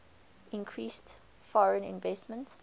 increased foreign investment